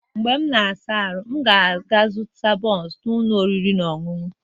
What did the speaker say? Mgbe m na-asa ahụ, m ga-aga zụta bunsu n'ụlọ oriri na ọṅụṅụ